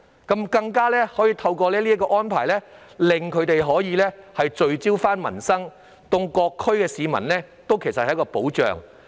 再者，落實宣誓的安排可令區議員聚焦民生，對各區市民都是一種保障。